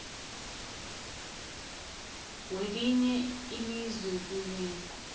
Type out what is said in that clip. welinye ilizwe kunye